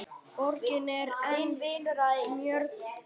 Borgin er enn mjög ung.